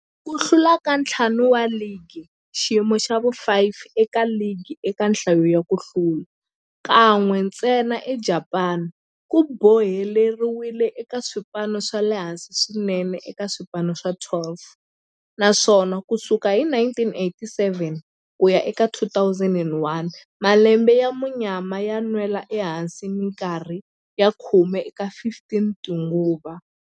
Ku hlula ka ntlhanu wa ligi, xiyimo xa vu-5 eka ligi eka nhlayo ya ku hlula, kan'we ntsena eJapani, ku boheleriwile eka swipano swa le hansi swinene eka swipano swa 12, naswona ku sukela hi 1987 ku ya eka 2001, malembe ya munyama yo nwela ehansi minkarhi ya khume eka 15 tinguva.